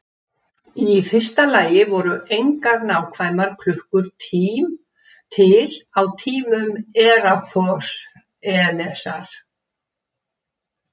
Í fyrsta lagi voru engar nákvæmar klukkur til á tímum Eratosþenesar.